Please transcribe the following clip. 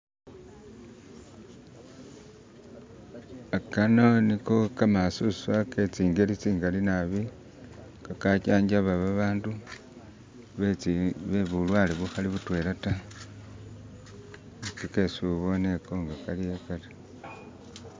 Kano ni kho khamasuswa khetsingeli tsingali naabi khakha jajaba babandu bebulwale bukhali butwela ta nge esiuboone ghaliwo kharyo.